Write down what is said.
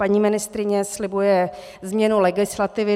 Paní ministryně slibuje změnu legislativy.